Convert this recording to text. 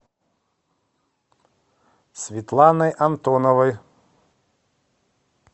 светланой антоновой